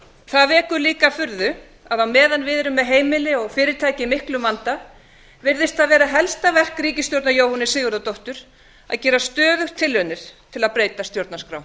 það vekur líka furðu að á meðan við erum með heimili og fyrirtæki í miklum vanda virðist það vera helsta verk ríkisstjórnar jóhönnu sigurðardóttur að gera stöðugt tilraunir til að breyta stjórnarskrá